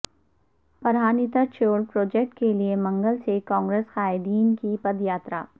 Pranhita Chevella project کیلئے منگل سے کانگریس قائدین کی پدیاترا